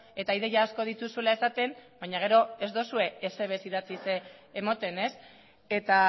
eta ideia asko dituzuela esaten baina gero ez duzue ezer ere ez idatziz ematen eta